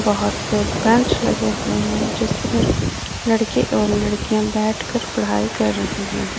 बहुत से बैंच लगे हुवे हैं जिस पर बहुत से लड़के एवं लड़कियां बैठ के पढ़ाई कर रही हैं।